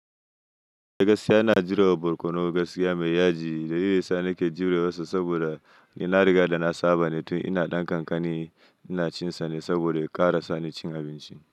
Gaskiya ina jurewa barkonon gaskiya mai yaji. Da yinsa nake jure masa saboda ni na riga da na saba ne tun ina ɗan kankani. Ina cinsa ne saboda ya ƙarasa ni cin abinci.